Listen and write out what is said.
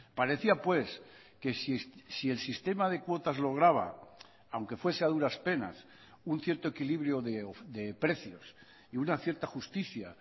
parecía pues que si el sistema de cuotas lograba aunque fuese a duras penas un cierto equilibrio de precios y una cierta justicia